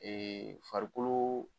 Ee farikoloo